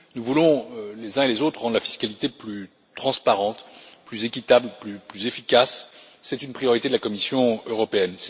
Nous voulons, les uns et les autres, rendre la fiscalité plus transparente, plus équitable et plus efficace. C'est une priorité de la Commission européenne.